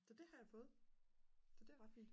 så det har jeg fået så det er ret fint